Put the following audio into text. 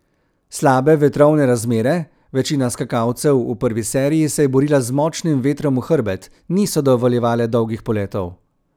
Slabe vetrovne razmere, večina skakalcev v prvi seriji se je borila z močnim vetrom v hrbet, niso dovoljevale dolgih poletov.